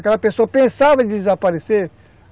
Aquela pessoa pensava em desaparecer?